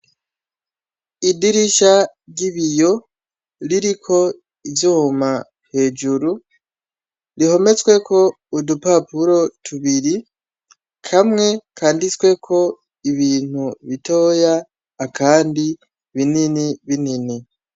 Idirisha ry'ibiro ririko ivyuma hejuru rihometsweko udupapuro tubiri kamwe kanditsweko ibintu bitoya akandi binini binini.